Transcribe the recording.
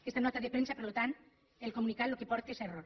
aquesta nota de premsa per tant el comunicat el que porta és a error